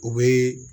U bɛ